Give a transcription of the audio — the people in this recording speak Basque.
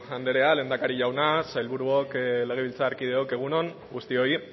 anderea lehendakari jauna sailburuok legebiltzarkideok egun on guztioi